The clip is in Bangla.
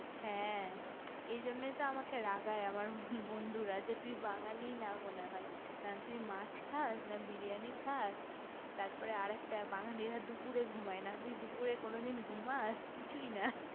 হ্যা এই জন্য তো আমাকে রাগই আমার বন্ধুরা যে তুই বাঙালি না মনে হয় না তুই মাছ খাস না বিরিয়ানি খাস তার পর আরেকটা রা বাঙালিরা দুপুরে ঘুমাই না না দুপুরে কোনোদিন ঘুমাস কোনো কিছুই না